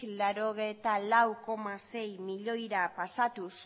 laurogeita lau koma sei milioira pasatuz